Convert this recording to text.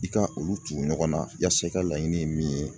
I ka olu tugu ɲɔgɔnna yasa i ka laɲini ye min ye